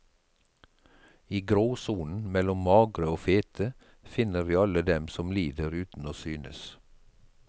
I gråsonen mellom magre og fete finner vi alle dem som lider uten å synes.